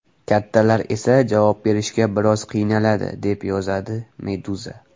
Kattalar esa javob berishga biroz qiynaladi, deb yozadi Meduza.